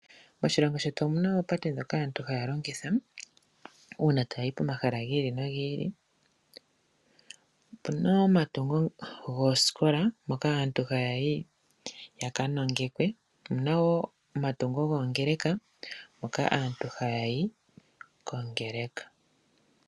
Moshilongo shetu omuna oopate dhono aantu haya longitha uuna taya yi pomahala giili nogiili. Opuna omatungo gooskola moka aantu haya yi yaka nongekwe. Omuna woo omatungo goongeleka moka aantu haya yi kongeleka.